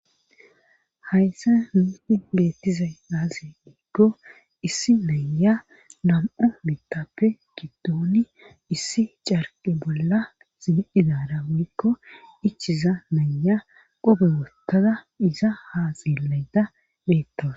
hayssa hiidi beettizay aazi diikko issi naya nam7u bitappe giddooni issi carqe bolla sigiidara woykko ichiza naya qobe wottada iza haaxillayda beettawus